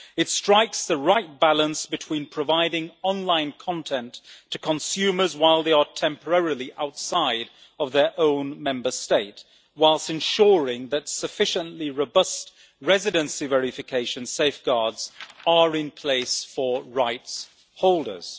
It strikes the right balance between providing online content to consumers while they are temporarily outside of their own Member State, whilst ensuring that sufficiently robust residency verification safeguards are in place for rights holders.